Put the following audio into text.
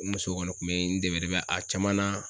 N muso kɔni kun be n dɛmɛ dɛmɛ a caman na